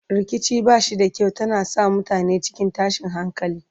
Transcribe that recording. rikici bashi da kyau tana sa mutane cikin tashin hankali